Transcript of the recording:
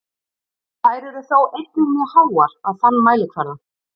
Þær eru þó einnig mjög háar á þann mælikvarða.